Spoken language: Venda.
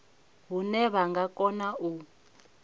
hune vha nga kona u